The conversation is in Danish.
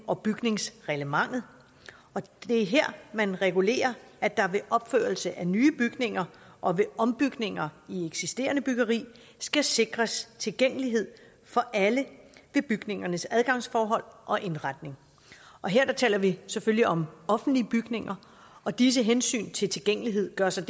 og bygningsreglementet og det er her man regulerer at der ved opførelse af nye bygninger og ved ombygninger i eksisterende byggeri skal sikres tilgængelighed for alle i bygningernes adgangsforhold og indretning her taler vi selvfølgelig om offentlige bygninger og disse hensyn til tilgængelighed gør sig